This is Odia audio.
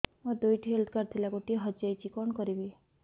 ମୋର ଦୁଇଟି ହେଲ୍ଥ କାର୍ଡ ଥିଲା ଗୋଟିଏ ହଜି ଯାଇଛି କଣ କରିବି